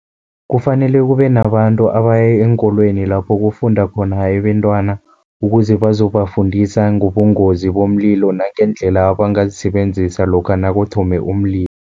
Kufanele kube nabantu abaya eenkolweni lapho kufunda khona abentwana, ukuze bazobafundisa ngobungozi bomlilo nangeendlela abangazisebenzisa lokha nakuthome umlilo.